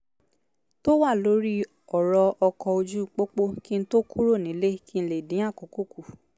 tó wà lórí ọ̀rọ̀ ọkọ̀ ójú pópó kí n tó kúrò nílé kí n lè dín àkókò kù